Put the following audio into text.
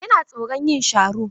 Yana tsoron yin sharo.